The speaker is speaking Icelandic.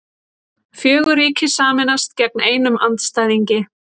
Fjögur ríki sameinast gegn einum andstæðingi